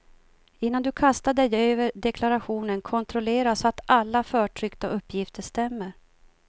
Innan du kastar dig över deklarationen kontrollera så att alla förtryckta uppgifter stämmer.